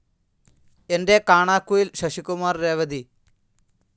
എന്റെ കാണാക്കുയിൽ ശശികുമാർ രേവതി